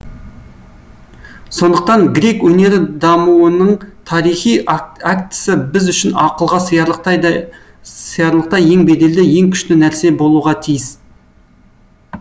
сондықтан грек өнері дамуының тарихи актысы біз үшін ақылға сиярлықтай ең беделді ең күшті нәрсе болуға тиіс